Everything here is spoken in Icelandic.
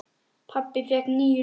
Pabbi fékk níu líf.